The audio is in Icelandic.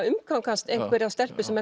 umgangast einhverja stelpu sem